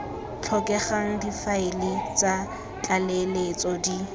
tlhokegang difaele tsa tlaleletso di